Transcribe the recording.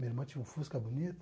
Minha irmã tinha um Fusca bonito.